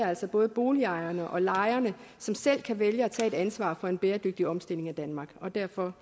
altså både boligejerne og lejerne som selv kan vælge at tage et ansvar for en bæredygtig omstilling af danmark og derfor